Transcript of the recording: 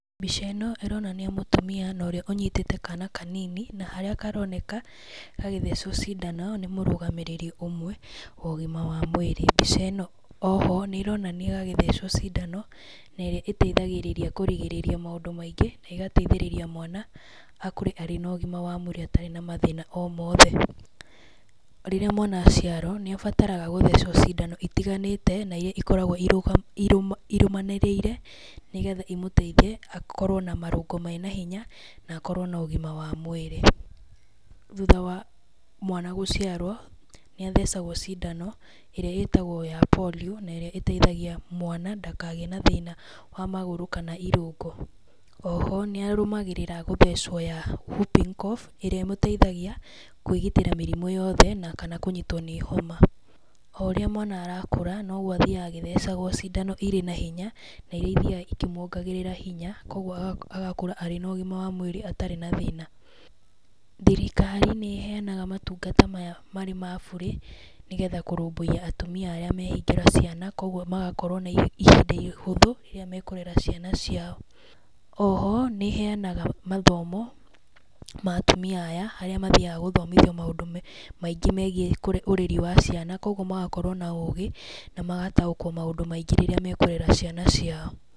Mbica ĩno ĩronania mũtumia na ũrĩa ũnyitĩte kana kanini na harĩa karoneka gagĩthecwo cindano nĩ mũrũgamĩrĩri ũmwe wa ũgima wa mũĩri, mbica ĩno oho nĩ ĩronania gagĩthecwo cindano na ĩrĩa ĩteithagĩrĩria kũrigĩrĩria maũndũ maingĩ na ĩgateithĩrĩria mwana akũre arĩ na ũgima wa mwĩrĩ atarĩ na mathĩna o mothe. Rĩrĩa mwana aciarwo nĩ abataraga gũthecwo cindano itiganĩte na iria ikoragwo irũmanĩrĩire, nĩgetha imũteithie akorwo na marũngo mena hinya na akorwo na ũgima wa mwĩrĩ. Thutha wa mwana gũciarwo nĩ athecagwo cindano ĩrĩa ĩtagwo ya Polio, na ĩrĩa ĩteithagia mwana ndakagĩe na thĩna wa magũrũ kana irũngo. Oho nĩarũmagĩrĩra gũthecwo ya whooping cough ĩrĩa ĩmũteithagia kũĩgitĩra mĩrimũ yothe na kana kũnyitwo nĩ homa, o ũrĩa mwana arakũra nogwo athiaga agĩthecagwo cindano ĩrĩ na hinya na iria ithiaga ikĩmwongagĩrĩra hinya kwa ũguo agakũra arĩ na ũgima wa mũĩrĩ atarĩ na thĩna . Thirikari nĩ ĩheanaga maũtungata maya marĩ ma burĩ, nĩgetha kũrũmbũiya atumia arĩa mehingĩra ciana kwa ũguo magakorwo na ihinda ihũthũ rĩrĩa mekũrera ciana ciao. Oho nĩĩheanaga mathomo ma atumia aya arĩa mathiaga gũthomithio maũndũ maingĩ megĩe ũreri wa ciana, koguo magakorwo na ũgĩ na magataũkwo maũndũ maingĩ rĩrĩa mekũrera ciana ciao.